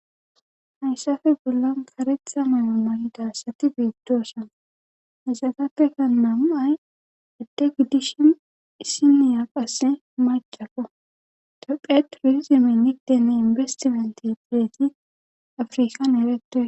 hayssafe bollan karetxa mayoma hidassati biidtoosa hasatatekka naam7ay adde giddishin issiniya qasse macaka tophe turizimennideene inbestimalti direeti afrikan eretue